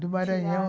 Do Maranhão.